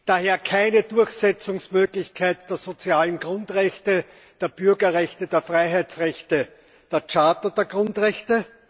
daher keine Durchsetzungsmöglichkeit der sozialen Grundrechte, der Bürgerrechte, der Freiheitsrechte, der Charta der Grundrechte